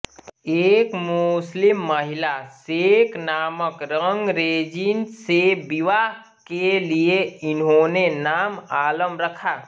एक मुस्लिम महिला शेख नामक रंगरेजिन से विवाह के लिए इन्होंने नाम आलम रखा